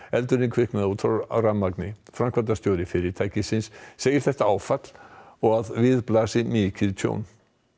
eldurinn kviknaði út frá rafmagni framkvæmdastjóri fyrirtækisins segir þetta áfall og við blasi mikið tjón